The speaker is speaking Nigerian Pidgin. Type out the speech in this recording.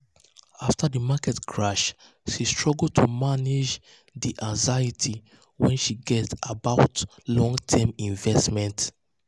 "afta di market crash she struggle to manage struggle to manage di anxiety wey she get about long-term investments."